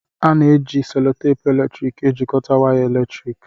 A na-eji selotepu eletrik ejikọta waya eletriki